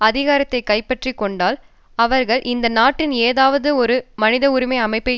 அதிகாரத்தை கைப்பற்றிக்கொண்டால் அவர்கள் இந்த நாட்டில் ஏதாவதொரு மனித உரிமை அமைப்பை